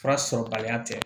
Fura sɔrɔbaliya tɛ